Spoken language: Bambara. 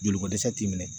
Joliko dɛsɛ t'i minɛ